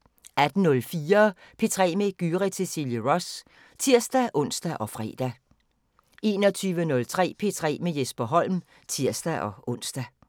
18:04: P3 med Gyrith Cecilie Ross (tir-ons og fre) 21:03: P3 med Jesper Holm (tir-ons)